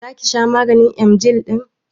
Zaki sha maganin emgyl ɗin?